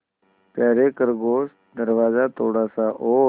यारे खरगोश दरवाज़ा थोड़ा सा और